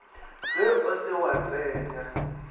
ge o se wa tsenya